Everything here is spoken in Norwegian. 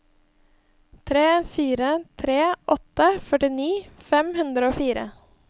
tre fire tre åtte førtini fem hundre og fire